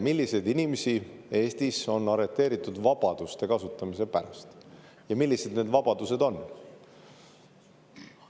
Milliseid inimesi Eestis on arreteeritud vabaduste kasutamise pärast ja millised need vabadused on?